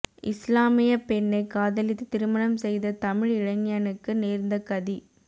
இஸ்லாமிய பெண்ணை காதலித்து திருமணம் செய்த தமிழ் இளைஞனுக்கு நேர்ந்த கதி